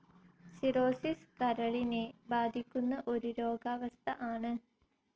Cirrhosis കരളിനെ ബാധിക്കുന്ന ഒരു രോഗാവസ്ഥ ആണ്.